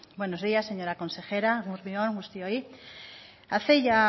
buenos días señora consejera eguerdi on guztioi hace ya